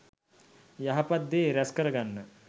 යහපත් දේ රැස් කරගන්න